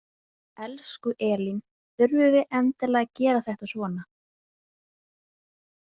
Elsku Elín, þurfum við endilega að gera þetta svona?